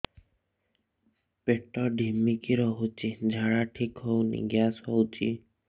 ପେଟ ଢିମିକି ରହୁଛି ଝାଡା ଠିକ୍ ହଉନି ଗ୍ୟାସ ହଉଚି